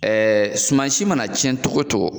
Ɛɛ sumansi mana tiɲɛ cogo o cogo